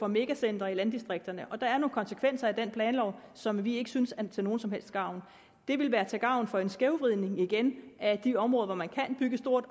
megacentre i landdistrikterne og der er nogle konsekvenser af den planlov som vi ikke synes er til nogen som helst gavn det ville være til gavn for en skævvridning igen af de områder hvor man kan bygge stort